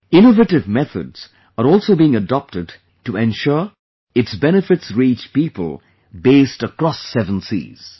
Innovative methods are also being adopted to ensure its benefits reach people based across seven seas